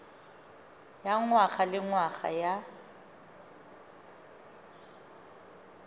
ya ngwaga le ngwaga ya